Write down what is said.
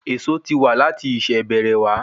Èso ti wa lati ìṣẹ̀ bẹ̀rẹ̀ wa